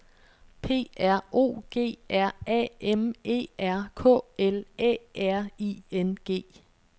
P R O G R A M E R K L Æ R I N G